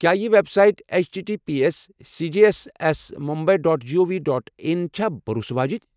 کیٚا یہِ web site H T T P S C G H S S Mumbai dot G O V dot in چھا بھروسہٕ واجِنۍ؟